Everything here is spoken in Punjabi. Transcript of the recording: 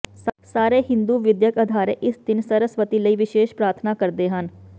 ਸਾਰੇ ਹਿੰਦੂ ਵਿਦਿਅਕ ਅਦਾਰੇ ਇਸ ਦਿਨ ਸਰਸਵਤੀ ਲਈ ਵਿਸ਼ੇਸ਼ ਪ੍ਰਾਰਥਨਾ ਕਰਦੇ ਹਨ